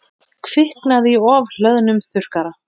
Kviknaði í ofhlöðnum þurrkara